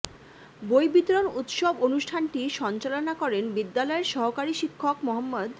বই বিতরণ উৎসব অনুষ্ঠানটি সঞ্চালনা করেন বিদ্যালয়ের সহকারী শিক্ষক মো